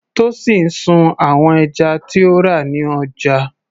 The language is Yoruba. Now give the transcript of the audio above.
Tosin sun àwọn ẹja tí ó rà ní ọjà.